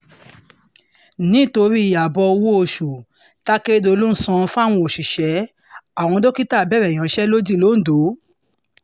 nítorí ààbò owó-oṣù takérédọ́lù ń san fáwọn òṣìṣẹ́ àwọn dókítà bẹ̀rẹ̀ ìyansẹ́lódì lońdó